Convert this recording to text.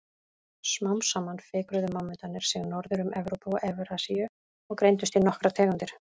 Smám saman fikruðu mammútarnir sig norður um Evrópu og Evrasíu og greindust í nokkrar tegundir.